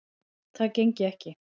Það gengi ekki